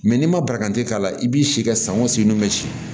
n'i ma baranti k'a la i b'i si kɛ san o san n'u bɛ si